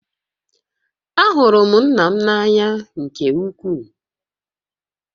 Ahụrụ m nna m n'anya nke ukwuu